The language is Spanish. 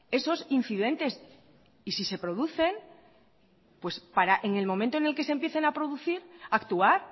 esos incidentes y si se producen pues para en el momento en que se empiecen a producir actuar